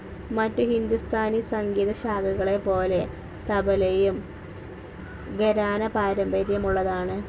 മറ്റ് ഹിന്ദുസ്ഥാനി സംഗീത ശാഖകളെ പോലെ തബലയും ഘരാന പാരമ്പര്യമുള്ളതാണ്.